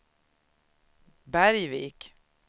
Bergvik